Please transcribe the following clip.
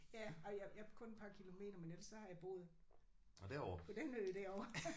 Ja ej jeg jeg er kun et par kilometer men ellers så har jeg boet på den ø derovre